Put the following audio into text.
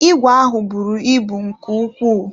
Ìgwè ahụ buru ibu nke ukwuu.